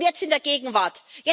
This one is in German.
Und jetzt in der Gegenwart?